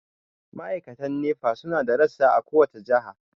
Ma'aikatan Nepa su na da rassa a kowace jiha.